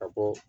Ka bɔ